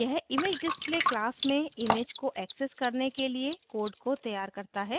यह imagedisplay class में image को access करने के लिए code को तैयार करता है